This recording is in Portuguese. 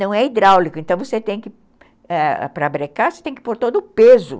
Não é hidráulico, então você tem que, ãh, para brecar, você tem que pôr todo o peso.